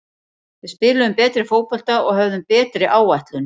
Við spiluðum betri fótbolta og höfðum betri áætlun.